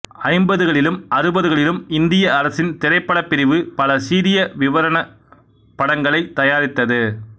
ஐம்பதுகளிலும் அறுபதுகளிலும் இந்திய அரசின் திரைப்படப் பிரிவு பல சீரிய விவரணப் படங்களை தயாரித்தது